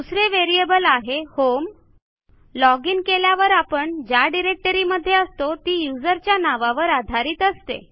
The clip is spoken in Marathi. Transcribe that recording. दुसरे व्हेरिएबल आहे होम लॉजिन केल्यावर आपण ज्या डिरेक्टरीमध्ये असतो ती userच्या नावावर आधारित असते